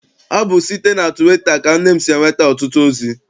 Ọ bụ site na tụwita ka nne m si enweta ọtụtụ ozi.